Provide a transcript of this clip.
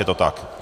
Je to tak?